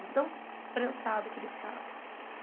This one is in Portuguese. de tão prensado que ele ficava.